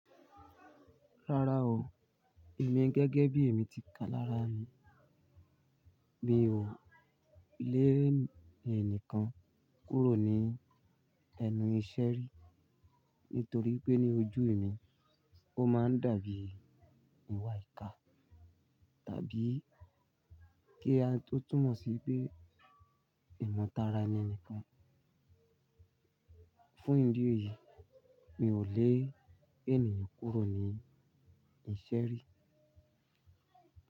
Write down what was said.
Rárá o, èmi gẹ́gẹ́ bí èmi ti kà lára mi, mi ò lè ènìyàn kan kúrò ní ẹnu iṣẹ́ rí. Nítorí wipé ní ojú mi, ó máa ń dàbí ìwà ìkà tàbí kí a tó túmọ̀ sí pé ìmọ̀tara ẹni ni kan. Fún ìdí èyí, mi ò lè ènìyàn kúrò ní iṣẹ́ rí.